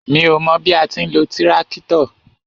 Mi ó mọ bí a ti ń lo tíráktọ̀.